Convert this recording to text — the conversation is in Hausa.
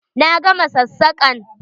Na gama sassakan!